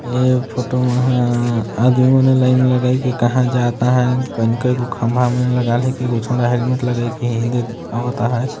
यह फोटो मा आदमी मन ह लाइन लगाई के कहा जाता ह कोनी कोनी खंबा मन लगाई ल हे कुछु हेलमेट लगाइन के हे आवत ह।